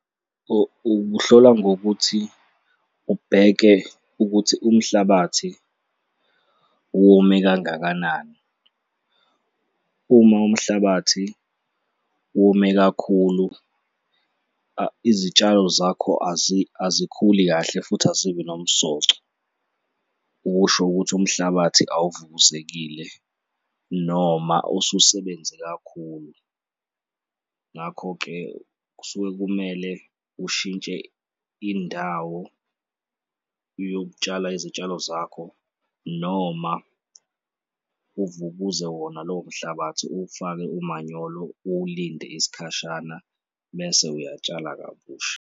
Ukuhlola ngokuthi ubheke ukuthi umhlabathi wome kangakanani. Uma umhlabathi wome kakhulu, izitshalo zakho azikhuli kahle futhi azibi nomsoco. Okusho ukuthi umhlabathi awuvukuzekile noma ususebenze kakhulu. Ngakho-ke, kusuke kumele ushintshe indawo yokutshala izitshalo zakho noma uvukuze wona lowo mhlabathi, uwufake umanyolo, ulinde isikhashana bese uyatshala kabusha.